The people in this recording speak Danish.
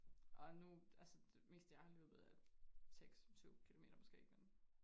Og nu altså det meste jeg har løbet er 6 7 kilometer måske men